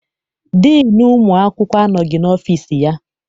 Diinu ụmụ akwụkwọ anọghị n'ọfịịsi ya.